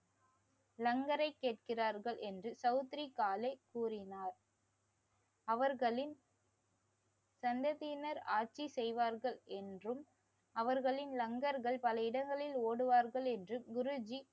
லங்கரை கேக்கிறார்கள் என்று தௌத்ரிகாலே கூறினார். அவர்களின் சந்ததியினர் ஆட்சி செய்வார்கள் என்றும் அவர்களின் லங்கர்கள் பல இடங்களில் ஓடுவார்கள் என்று